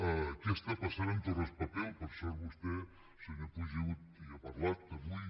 què està passant amb torraspapel per sort vostè senyor puig hi ha parlat avui